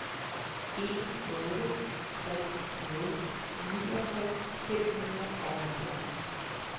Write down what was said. en otte tre nul niogtres fem hundrede og halvfjerds